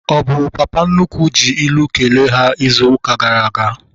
Ọ bụ papa nnukwu ji ilu kelee ha izu ụka gara aga?